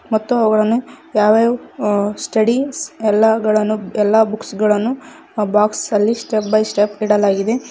ಮತ್ತು ಅವುಗಳನ್ನು ಯಾವ ಯಾವ ಅಂ ಸ್ಟಡೀಸ್ ಎಲ್ಲಾಗಳನ್ನು ಎಲ್ಲಾ ಬುಕ್ಸ್ ಗಳನ್ನು ಬಾಕ್ಸ್ ಅಲ್ಲಿ ಸ್ಟೆಪ್ ಬೈ ಸ್ಟೆಪ್ ಇಡಲಾಗಿದೆ.